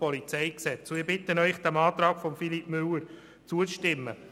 Ich bitte Sie, diesem Antrag zuzustimmen.